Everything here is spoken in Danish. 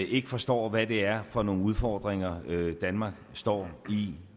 ikke forstår hvad det er for nogle udfordringer danmark står i